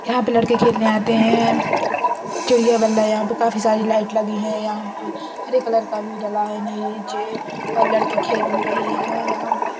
यहां पर लड़के खेलने आते हैं चिड़िया बल्ला। यहां पे काफी सारी लाइट लगी हैं। यहां पे हरे कलर का भी डला है नीचे और लड़के खेल भी रह हैं यहां पे ।